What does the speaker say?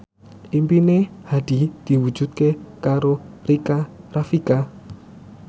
impine Hadi diwujudke karo Rika Rafika